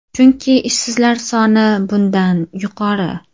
Chunki ishsizlar soni bundan yuqori.